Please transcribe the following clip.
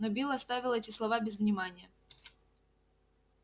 но билл оставил эти слова без внимания